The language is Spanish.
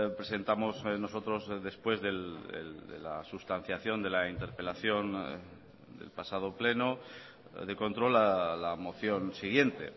presentamos nosotros después de la sustanciación de la interpelación del pasado pleno de control la moción siguiente